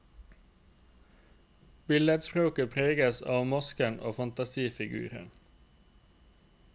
Billedspråket preges av masker og fantasifigurer.